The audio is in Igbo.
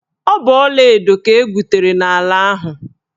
Ọ bụ ọlaedo ka egwutere n'ala ahụ.